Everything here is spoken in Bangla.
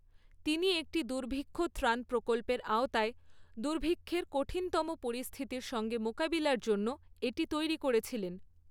তিনি একটি দুর্ভিক্ষ ত্রাণ প্রকল্পের আওতায় দুর্ভিক্ষের কঠিনতম পরিস্থিতির সঙ্গে মোকাবিলার জন্য এটি তৈরি করেছিলেন।